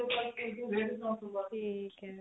ਠੀਕ ਏ